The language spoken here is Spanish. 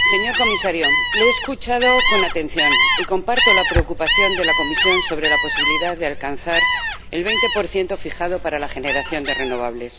señor Comisario, le he escuchado con atención y comparto la preocupación de la Comisión sobre la posibilidad de alcanzar el 20 fijado para la generación de renovables.